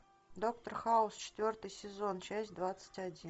доктор хаус четвертый сезон часть двадцать один